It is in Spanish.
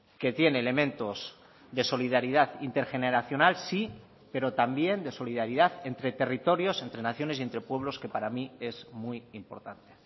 que tiene elementos de solidaridad intergeneracional sí pero también de solidaridad entre territorios entre naciones y entre pueblos que para mí es muy importante